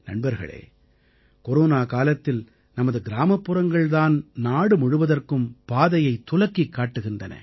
நண்பர்களே கொரோனா காலத்தில் நமது கிராமப்புறங்கள் தான் நாடு முழுவதற்கும் பாதையைத் துலக்கிக் காட்டுகிறது